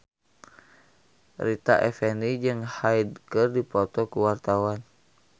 Rita Effendy jeung Hyde keur dipoto ku wartawan